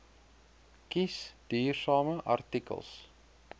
kies duursame artikels